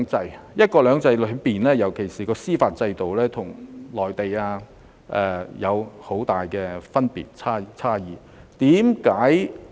在"一國兩制"下，尤其在司法制度方面，香港與內地有很大差異。